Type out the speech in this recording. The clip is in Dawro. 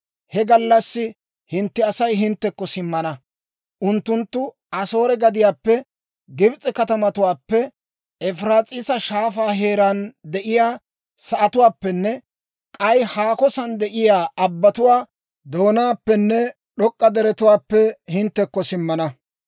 He gallassi hintte Asay hinttekko simmana. Unttunttu Asoore gadiyaappe, Gibs'e katamatuwaappe, Efiraas'iisa Shaafaa heeraan de'iyaa sa'atuwaappenne k'ay haako san de'iyaa abbatuwaa doonaappenne d'ok'k'a deretuwaappe hinttekko simmana.